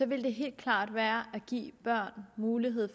ville det helt klart være at give børn mulighed